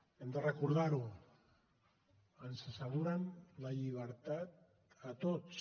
hem de recordar ho ens asseguren la llibertat a tots